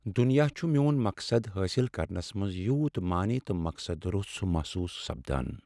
دنیا چھ میون مقصد حٲصل کرنس منٛز یوٗت معنے تہٕ مقصد روٚس محسوس سپدان۔